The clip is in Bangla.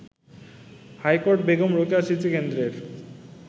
হাইকোর্ট বেগম রোকেয়া স্মৃতিকেন্দ্রের